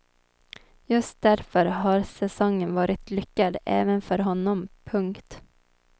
Just därför har säsongen varit lyckad även för honom. punkt